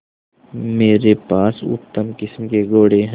मेरे पास उत्तम किस्म के घोड़े हैं